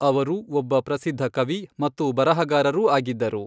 ಅವರು ಒಬ್ಬ ಪ್ರಸಿದ್ಧ ಕವಿ ಮತ್ತು ಬರಹಗಾರರೂ ಆಗಿದ್ದರು.